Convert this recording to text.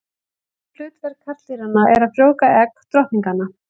Eina hlutverk karldýranna er að frjóvga egg drottninganna.